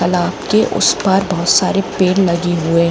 तलाप के उस पर बहुत सारे पेड़ लगे हुए--